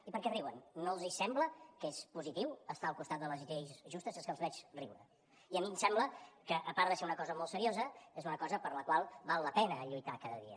i per què riuen no els sembla que és positiu estar al costat de les lleis justes és que els veig riure i a mi em sembla que a part de ser una cosa molt seriosa és una cosa per la qual val la pena lluitar cada dia